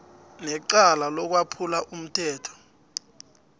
necala lokwephula umthetho